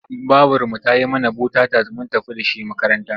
Babarmu ta yi mana bota-tat mun tafi da shi makaranta.